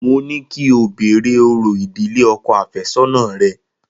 Mo ní kí o béèrè orò ìdílé ọkọ̀ àfẹ́sọ́nà rẹ.